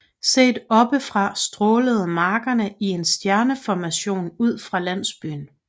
Set oppe fra strålede markerne i en stjerneformation ud fra landsbyen